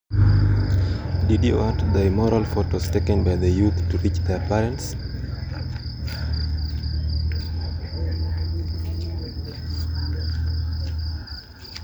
Nidwaro ni pichni molil ma rowere goyo mondo ochop ne jonyuolgi.